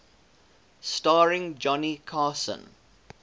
starring johnny carson